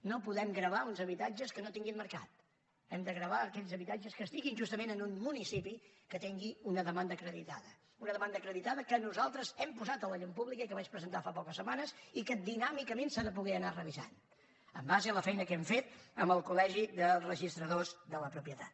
no podem gravar uns habitatges que no tinguin mercat hem de gravar aquells habitatges que estiguin justament en un municipi que tingui una demanda acreditada una demanda acreditada que nosaltres hem posat a la llum pública i que vaig presentar fa poques setmanes i que dinàmicament s’ha de poder anar revisant en base a la feina que hem fet amb el col·la propietat